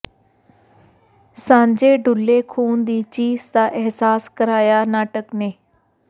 ਸਾਂਝੇ ਡੁੱਲੇ ਖੂਨ ਦੀ ਚੀਸ ਦਾ ਅਹਿਸਾਸ ਕਰਾਇਆ ਨਾਟਕ ਨੇ